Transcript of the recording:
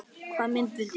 Hvaða mynd viltu sjá?